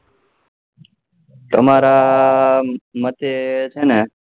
તમારા માતે છે ને